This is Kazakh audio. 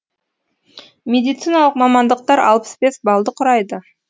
медициналық мамандықтар алпыс бес балды құрайды